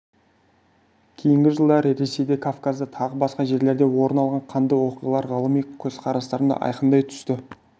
кейінгі жылдары ресейде кавказда тағы басқа жерлерде орын алған қанды оқиғалар ғылыми көзқарастарымды айқындай түсті